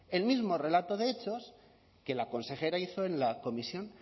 el mismo relato de hechos que la consejera hizo en la comisión